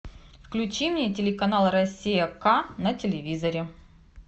включи мне телеканал россия к на телевизоре